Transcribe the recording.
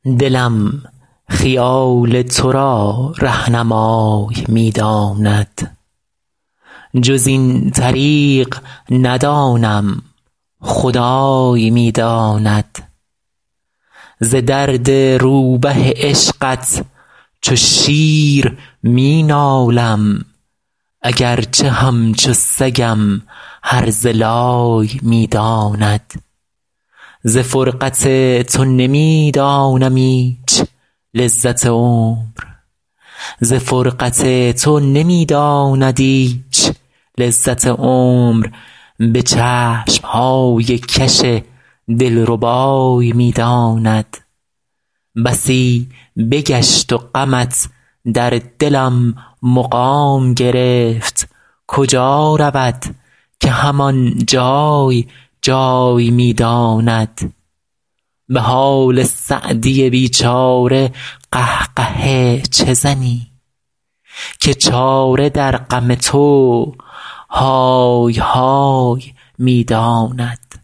دلم خیال تو را رهنمای می داند جز این طریق ندانم خدای می داند ز درد روبه عشقت چو شیر می نالم اگر چه همچو سگم هرزه لای می داند ز فرقت تو نمی دانم ایچ لذت عمر به چشم های کش دل ربای می داند بسی بگشت و غمت در دلم مقام گرفت کجا رود که هم آن جای جای می داند به حال سعدی بی چاره قه قهه چه زنی که چاره در غم تو های های می داند